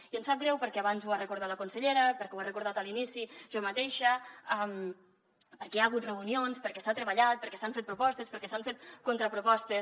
i ens sap greu abans ho ha recordat la consellera ho he recordat a l’inici jo mateixa perquè hi ha hagut reunions perquè s’ha treballat perquè s’han fet propostes perquè s’han fet contrapropostes